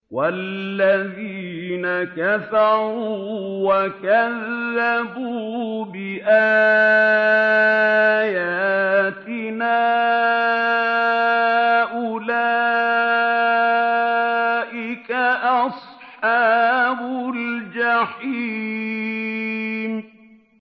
وَالَّذِينَ كَفَرُوا وَكَذَّبُوا بِآيَاتِنَا أُولَٰئِكَ أَصْحَابُ الْجَحِيمِ